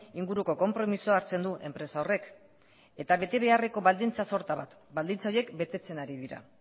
inguruko konpromisoa hartzen du enpresa horrek eta bete beharreko baldintza sorta bat baldintza horiek betetzen ari dira